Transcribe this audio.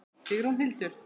Sigrún Hildur.